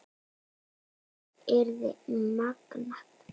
Það yrði magnað.